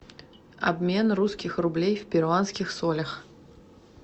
обмен русских рублей в перуанских солях